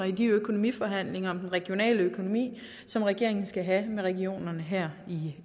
i de økonomiforhandlinger om den regionale økonomi som regeringen skal have med regionerne her i